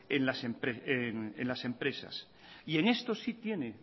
en las empresas y en esto sí tiene